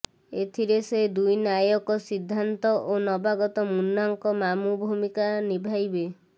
ଏଥିରେ ସେ ଦୁଇ ନାୟକ ସିଦ୍ଧାନ୍ତ ଓ ନବାଗତ ମୁନ୍ନାଙ୍କ ମାମୁଁ ଭୂମିକା ନିଭାଇବେ